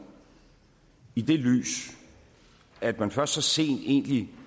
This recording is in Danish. i det lys at man først så sent egentlig